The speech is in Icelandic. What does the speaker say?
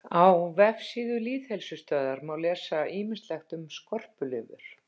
Á vefsíðu Lýðheilsustöðvar má lesa ýmislegt um skorpulifur.